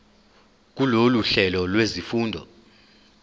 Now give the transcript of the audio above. kulolu hlelo lwezifundo